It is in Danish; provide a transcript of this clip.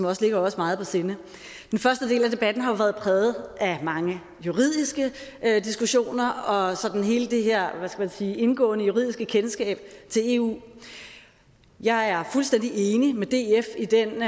også ligger os meget på sinde den første del af debatten har været præget af mange juridiske diskussioner og hele det her indgående juridiske kendskab til eu jeg er fuldstændig enig med df i den